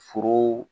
Foro